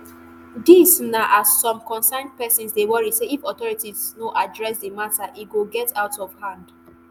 dis na as some concerned pesins dey worry say if authorities no address di mata e go get out of hand